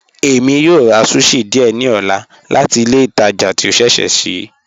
Ẹ̀mi yó rà sushi díẹ̀ ní ọ̀là láti ilẹ̀ ìtàjà tí o ṣẹṣẹ́ ṣii